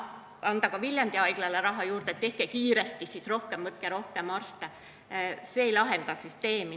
Võiks ju anda ka Viljandi Haiglale raha juurde ja öelda, et tehke kiiresti, võtke rohkem arste, aga see ei lahenda süsteemi.